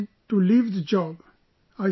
Mom tells me to leave that job